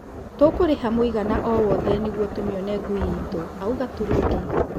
"Tũkũriha mũigana o-wothe nĩguo tũmĩone ngũi itũ," auga Turungi.